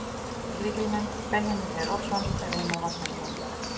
Lykilmenn: Benjamín Freyr Oddsson, Reimar Marteinsson